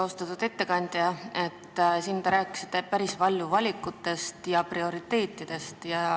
Austatud ettekandja, te rääkisite siin päris palju valikutest ja prioriteetidest.